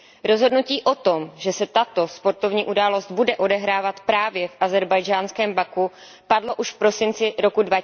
Rozhodnutí o tom, že se tato sportovní událost bude odehrávat právě v ázerbájdžánském Baku, padlo už v prosinci roku